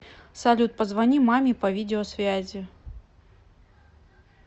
салют позвони маме по видео связи